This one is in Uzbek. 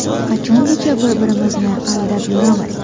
Qachongacha bir-birimizni aldab yuramiz?